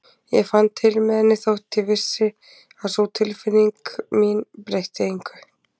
Ég fann til með henni þótt ég vissi að sú tilfinning mín breytti engu.